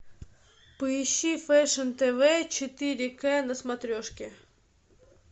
поищи фэшн тв четыре к на смотрешке